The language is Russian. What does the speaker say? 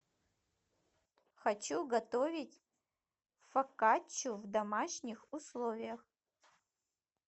хочу готовить фокаччу в домашних условиях